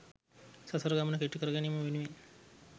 සසර ගමන කෙටි කරගැනීම වෙනුවෙන්